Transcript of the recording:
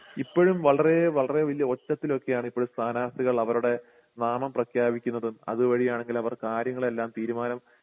ഇപ്പോഴും വളരെ വളരെ വലിയ ഒച്ചത്തിലൊക്കെയാണ് ഇപ്പോഴും സ്ഥാനാർത്ഥികൾ അവരുടെ നാമം പ്രഖ്യാപിക്കുന്നതും അതുവഴി ആണെങ്കിൽ അവർ കാര്യങ്ങളെല്ലാം തീരുമാനം